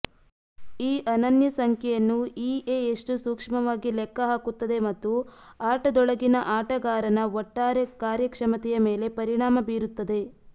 ಈ ಅನನ್ಯ ಸಂಖ್ಯೆಯನ್ನು ಇಎ ಎಷ್ಟು ಸೂಕ್ಷ್ಮವಾಗಿ ಲೆಕ್ಕಹಾಕುತ್ತದೆ ಮತ್ತು ಆಟದೊಳಗಿನ ಆಟಗಾರನ ಒಟ್ಟಾರೆ ಕಾರ್ಯಕ್ಷಮತೆಯ ಮೇಲೆ ಪರಿಣಾಮ ಬೀರುತ್ತದೆ